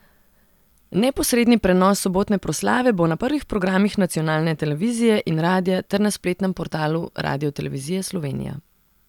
Neposredni prenos sobotne proslave bo na prvih programih nacionalne televizije in radia ter na spletnem portalu Radiotelevizije Slovenija.